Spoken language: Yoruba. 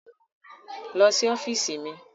Lọ sí ọ́fíìsì mi.